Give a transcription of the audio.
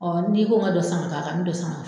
n'i ko n ka dɔ san ka k'a n mi dɔ san k'a kan.